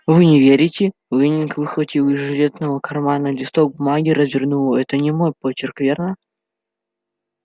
вы не верите лэннинг выхватил из жилетного кармана листок бумаги и развернул его это не мой почерк верно